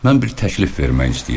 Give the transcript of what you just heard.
Mən bir təklif vermək istəyirəm.